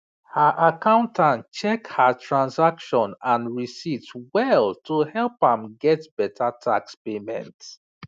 her accountant check her transaction and receipts well to help am get better tax payment